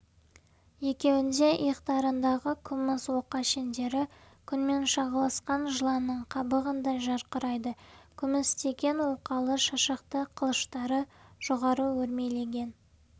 екеуініңде иықтарындағы күміс оқа шендері күнмен шағылысқан жыланның қабығындай жарқырайды күмістеген оқалы шашақты қылыштары жоғары өрмелеген